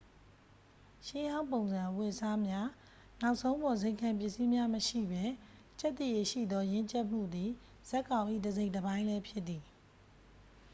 ရှေ့ဟောင်းပုံစံအဝတ်စားများ နောက်ဆုံးပေါ်ဇိမ်ခံပစ္စည်းများမရှိပဲ ကျက်သရေရှိသော ရင့်ကျက်မှုသည် ဇာတ်ကောင်၏ တစိတ်တပိုင်းလဲဖြစ်သည်